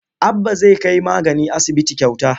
Abba zai kai magani asibiti kyauta.